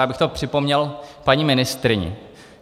Já bych to připomněl paní ministryni.